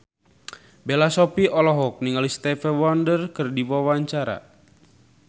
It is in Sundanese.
Bella Shofie olohok ningali Stevie Wonder keur diwawancara